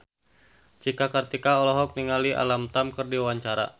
Cika Kartika olohok ningali Alam Tam keur diwawancara